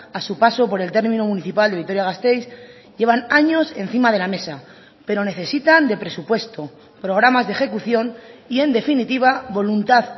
a su paso por el término municipal de vitoria gasteiz llevan años encima de la mesa pero necesitan de presupuesto programas de ejecución y en definitiva voluntad